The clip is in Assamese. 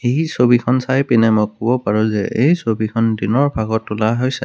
এই ছবিখন চাইপিনে মই ক'ব পাৰোঁ যে এই ছবিখন দিনৰ ভাগত তোলা হৈছে।